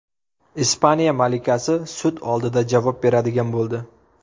Ispaniya malikasi sud oldida javob beradigan bo‘ldi.